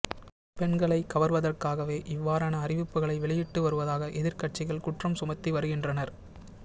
பெண்களை கவர்வதற்காகவே இவ்வாறான அறிவிப்புக்களை வெளியிட்டு வருவதாக எதிர்க்கட்சிகள் குற்றம் சுமத்தி வருகின்றனர்